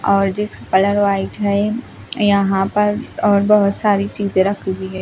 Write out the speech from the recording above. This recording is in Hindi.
और जिस कलर व्हाइट है यहां पर और बहुत सारी चीजें रखी हुई है।